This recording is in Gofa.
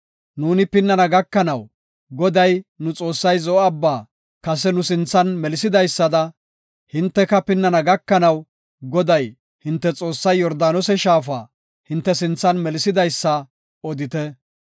Nuuni pinnana gakanaw, Goday, nu Xoossay Zo7o Abbaa kase nu sinthan melisidaysada, hinteka pinnana gakanaw, Goday, hinte Xoossay Yordaanose shaafa hinte sinthan melisidaysa odite.